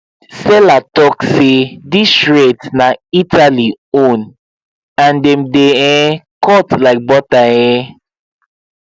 seller talk say these shears na italy own and dem dey um cut like butter um